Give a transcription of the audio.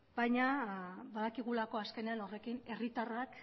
baina badakigulako azkenean horrekin herritarrak